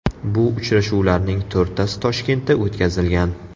Bu uchrashuvlarning to‘rttasi Toshkentda o‘tkazilgan.